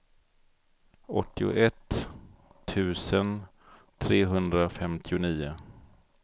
åttioett tusen trehundrafemtionio